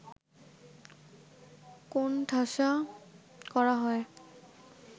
কোণঠাসা করা হয়